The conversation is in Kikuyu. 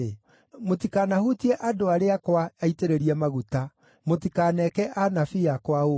“Mũtikanahutie andũ arĩa akwa aitĩrĩrie maguta; mũtikaneke anabii akwa ũũru.”